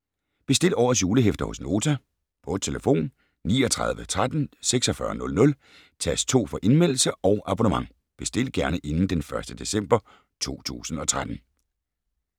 Bestil årets julehæfter hos Nota på telefon 39 13 46 00, tast 2 for Indmeldelse og abonnement. Bestil gerne inden d. 1. december 2013.